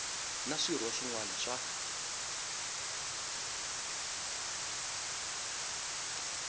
na swirho swin wana swa